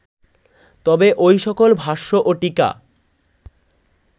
তবে ঐ সকল ভাষ্য ও টীকা